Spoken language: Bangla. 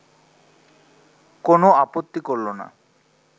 কোনো আপত্তি করল না